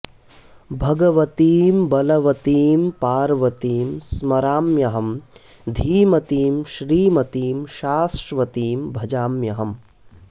भगवतीं बलवतीं पार्वतीं स्मराम्यहं धीमतीं श्रीमतीं शाश्वतीं भजाम्यहम्